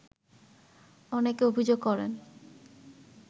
অনেকে অভিযোগ করেন